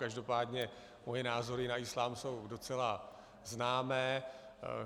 Každopádně moje názory na islám jsou docela známé.